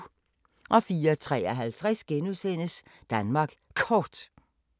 04:53: Danmark Kort *